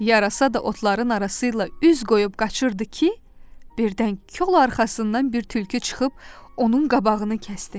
Yarasa da otların arasıyla üz qoyub qaçırdı ki, birdən kol arxasından bir tülkü çıxıb onun qabağını kəsdi.